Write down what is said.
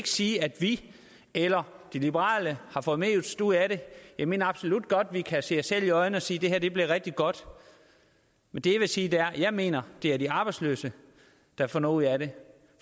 sige at vi eller de liberale har fået mest ud af det jeg mener absolut godt vi kan se os selv i øjnene og sige at det her blev rigtig godt men det jeg vil sige er at jeg mener det er de arbejdsløse der får noget ud af det